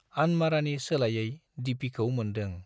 आनमारानि सोलायै दिपिखौ मोन्दों।